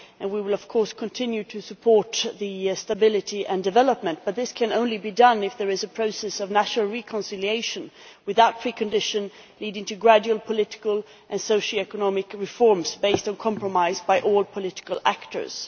We will, of course, continue to support stability and development, but this can only be done if there is a process of national reconciliation, without preconditions, leading to gradual political and socio economic reforms based on compromise by all political actors.